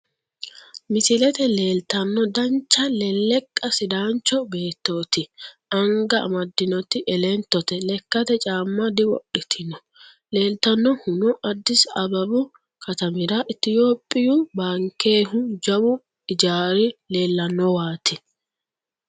Misilete leeltanno dancha lelleqa sidaancho beettooti. Anga amaddinoti elentote. Lekkate caamma diwodhitino. Leeltannohuno addisi ababu katamira itiyoophiyu baankehu jawu ijaari leellannowaati.